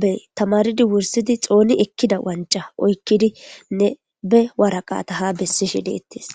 be tamaridi wursidi xooni ekkida wanca oykkidinne be waraqata ha bessishe deettes